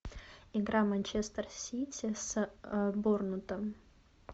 игра манчестер сити с борнмутом